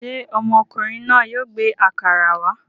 Ṣé ọmọkùnrin náà yóò gbé àkàrà wá?